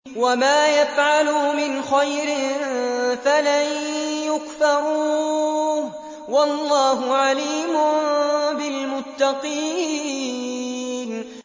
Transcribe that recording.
وَمَا يَفْعَلُوا مِنْ خَيْرٍ فَلَن يُكْفَرُوهُ ۗ وَاللَّهُ عَلِيمٌ بِالْمُتَّقِينَ